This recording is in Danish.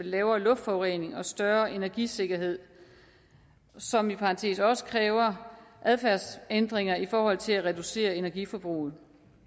lavere luftforurening og større energisikkerhed som i parentes bemærket også kræver adfærdsændringer i forhold til at reducere energiforbruget